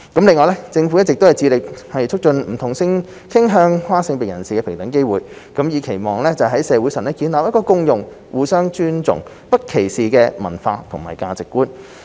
另外，政府一直致力促進不同性傾向和跨性別人士的平等機會，以期在社會上建立共融、互相尊重、不歧視的文化和價值觀。